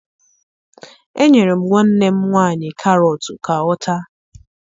Enyere m nwanne m nwaanyị karọtụ ka ọ taa